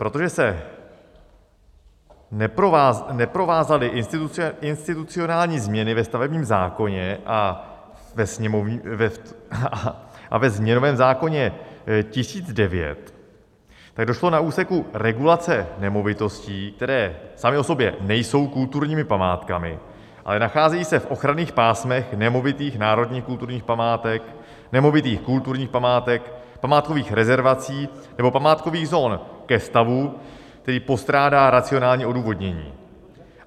Protože se neprovázaly institucionální změny ve stavebním zákoně a ve změnovém zákoně 1009, tak došlo na úseku regulace nemovitostí, které samy o sobě nejsou kulturními památkami, ale nacházejí se v ochranných pásmech nemovitých národních kulturních památek, nemovitých kulturních památek, památkových rezervací nebo památkových zón, ke stavu, který postrádá racionální odůvodnění.